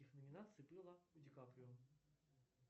каких номинаций было у ди каприо